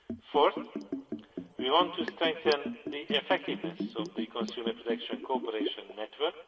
Fourth, we want to strengthen the effectiveness of the consumer protection cooperation network